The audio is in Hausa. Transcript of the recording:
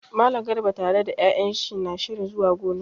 Mallam Garba tare da 'ya'yan shi na shirin zuwa gona.